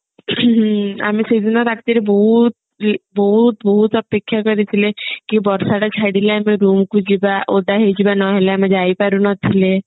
ଆମେ ସେଦିନ ରାତିରେ ବହୁତ ବହୁତ ବହୁତ ଅପେକ୍ଷା କରିଥିଲେ କି ବର୍ଷା ଟା ଛାଡିଲେ ଆମେ room କୁ ଯିବା ଓଦା ହେଇଯିବା ନହେଲେ ଆମେ ଯାଇ ପାରୁନଥିଲେ